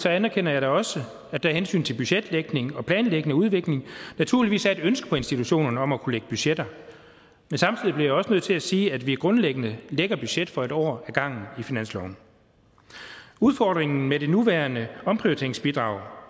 anerkender da også at der af hensyn til budgetlægning planlægning og udvikling naturligvis er et ønske på institutionerne om at kunne lægge budgetter men samtidig bliver jeg også nødt til at sige at vi grundlæggende lægger budget for en år ad gangen i finansloven udfordringen med det nuværende omprioriteringsbidrag